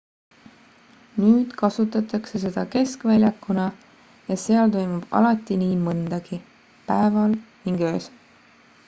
nüüd kasutatakse seda keskväljakuna ja seal toimub alati nii mõndagi päeval ning öösel